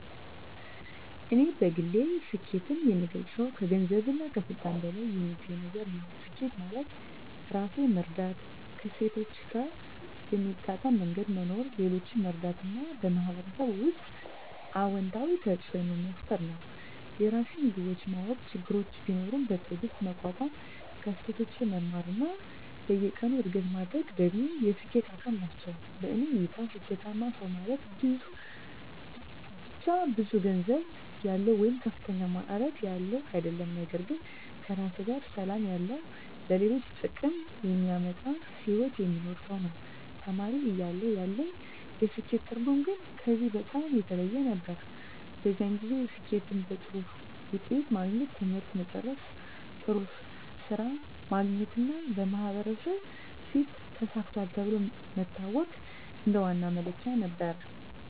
እኔ በግል ስኬትን የምገልጸው ከገንዘብና ከስልጣን በላይ የሚገኝ ነገር ነው። ስኬት ማለት ራሴን መረዳት፣ ከእሴቶቼ ጋር በሚጣጣም መንገድ መኖር፣ ሌሎችን መርዳት እና በማህበረሰብ ውስጥ አዎንታዊ ተፅዕኖ መፍጠር ነው። የራሴን ግቦች ማወቅ፣ ችግሮችን ቢኖሩም በትዕግስት መቋቋም፣ ከስህተቶቼ መማር እና በየቀኑ እድገት ማድረግ ደግሞ የስኬት አካል ናቸው። በእኔ እይታ ስኬታማ ሰው ማለት ብቻ ብዙ ገንዘብ ያለው ወይም ከፍተኛ ማዕረግ ያለው አይደለም፤ ነገር ግን ከራሱ ጋር ሰላም ያለው፣ ለሌሎች ጥቅም የሚያመጣ ሕይወት የሚኖር ሰው ነው። ተማሪ እያለሁ ያለኝ የስኬት ትርጉም ግን ከዚህ በጣም የተለየ ነበር። በዚያን ጊዜ ስኬትን በጥሩ ውጤት ማግኘት፣ ትምህርት መጨረስ፣ ጥሩ ሥራ ማግኘት እና በማህበረሰብ ፊት “ተሳክቷል” ተብሎ መታወቅ እንደ ዋና መለኪያ ነበር።